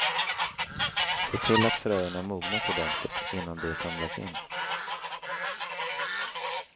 Se till att fröerna mognat ordentligt innan de samlas in.